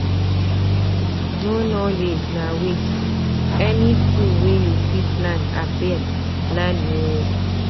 No knowledge na waste, any skill wey you fit learn abeg learn o